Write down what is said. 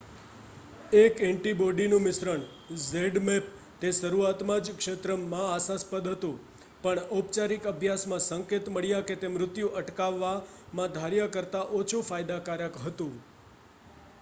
એક એન્ટિબોડી નું મિશ્રણ zmapp તે શરૂઆત માં ક્ષેત્ર માં આશાસ્પદ હતું પણ ઔપચારિક અભ્યાસ માં સંકેત મળ્યા કે તે મૃત્યુ અટકાવવામાં ધાર્યા કરતાં ઓછું ફાયદાકારક હતું